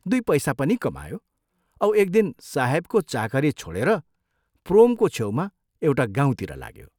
दुइ पैसा पनि कमायो औ एक दिन साहेबको चाकरी छोडेर प्रोमको छेउमा एउटा गाउँतिर लाग्यो।